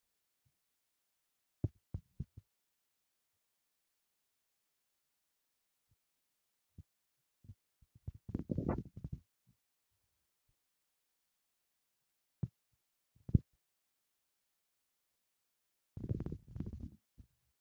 Issi issi biittan diya maxaafa keettay qassi a giddoykka keehi irxxi woppu giid nabbabiya asawu injjetees. Ubba ta he mala laybireeriya gelikko nibaabiyan tanakka dogaaggays.